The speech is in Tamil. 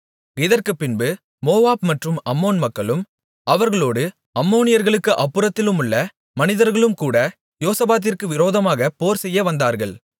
இதற்குப்பின்பு மோவாப் மற்றும் அம்மோன் மக்களும் அவர்களோடு அம்மோனியர்களுக்கு அப்புறத்திலுள்ள மனிதர்களும்கூட யோசபாத்திற்கு விரோதமாக போர்செய்ய வந்தார்கள்